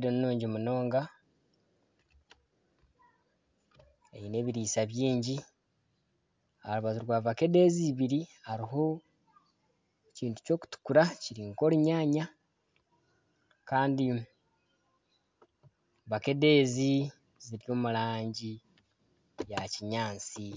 ninungi munonga eine ebirisa bingi aha rubaju rwa vakedo ezi ibiri hariho ekintu ky'okutukura kiri nka orunyaanya kandi vakedo ezi ziri omu rangi ya kinyaatsi.